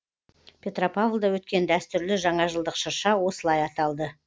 петропавлда өткен дәстүрлі жаңажылдық шырша осылай аталды